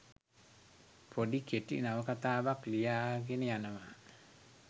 පොඩි කෙටි නවකතාවක් ලියාගෙන යනවා.